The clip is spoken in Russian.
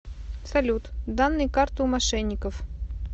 салют данные карты у мошенников